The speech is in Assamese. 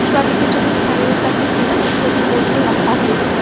ছোৱালীকেইজনীৰ চাৰিওকাষে কেইটামান প্ৰতি মূৰ্তিও ৰখা হৈছে।